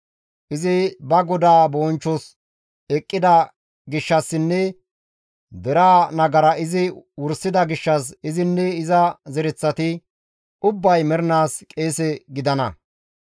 Izi ba Godaa bonchchos eqqida gishshassinne deraa nagara izi wursida gishshas izinne iza zereththati ubbay mernaas qeese gidana.»